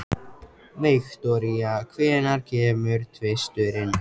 Viktoria, hvenær kemur tvisturinn?